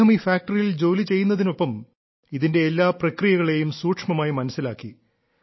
അദ്ദേഹം ഈ ഫാക്ടറിയിൽ ജോലി ചെയ്യുന്നതിനൊപ്പം ഇതിന്റെ എല്ലാ പ്രക്രിയകളെയും സൂക്ഷ്മമായി മനസ്സിലാക്കി